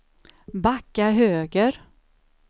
backa höger